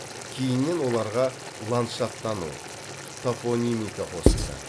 кейіннен оларға ландшафттану топонимика қосылды